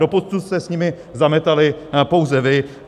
Doposud jste s nimi zametali pouze vy.